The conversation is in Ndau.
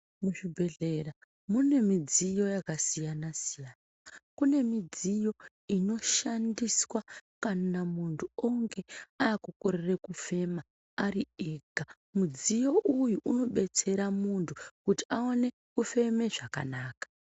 Muzvibhedhlera munemidziyo yakasiyana siyana. Kune midziyo inoshandiswa kana muntu onge akukorere kufema ari ega. Mudziyo uyu unodetsera muntu kuti aone kufeme zvakanaka.